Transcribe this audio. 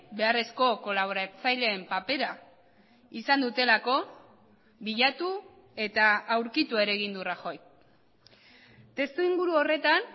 beharrezko kolaboratzaileen papera izan dutelako bilatu eta aurkitu ere egin du rajoy testu inguru horretan